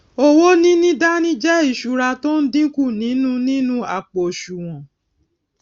owó níní dání jé ìsúra tó n dínkù nínú nínú àpò òsùwòn